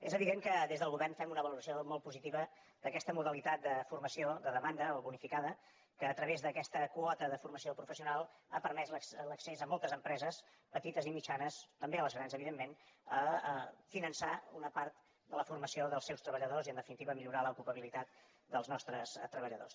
és evident que des del govern fem una valoració molt positiva d’aquesta modalitat de formació de demanda o bonificada que a través d’aquesta quota de formació professional ha permès l’accés de moltes empreses petites i mitjanes també a les grans evidentment a finançar una part de la formació dels seus treballadors i en definitiva millorar l’ocupabilitat dels nostres treballadors